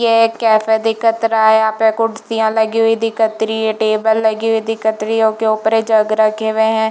ये एक कैफ़े दिखत रहा है यहाँ पर कुर्सिया लगी हुई दिखत रही है टेबल लगी हुई दिखत रही है ओकरे ऊपर जग रखे हुए है।